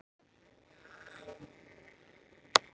Þeir eru nú svarnir óvinir.